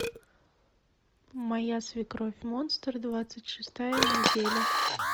моя свекровь монстр двадцать шестая неделя